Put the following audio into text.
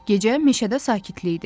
Gecə meşədə sakitlik idi.